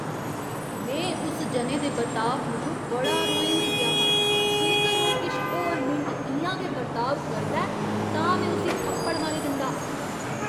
में उस जने दे बर्ताव मूजब बड़ा रोहें होई गेआ हा। जेकर ओह् किश होर मिंट इ'यां गै बर्ताव करदा ऐ तां में उसी थप्पड़ मारी दिंदा।